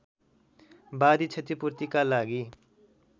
वादी क्षतिपूर्तिका लागि